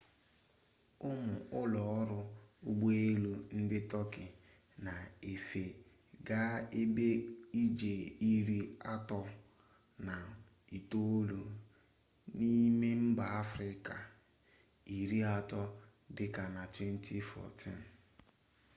ụmụ ụlọọrụ ụgbọelu ndị tọọki na-efe gaa ebe ije iri atọ na itoolu n'ime mba afrịka iri atọ dị ka na 2014